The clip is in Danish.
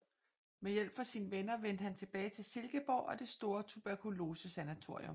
Med hjælp fra sine venner vendte han tilbage til Silkeborg og det store tuberkulosesanatorium